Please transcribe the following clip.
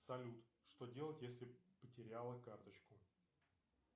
салют что делать если потеряла карточку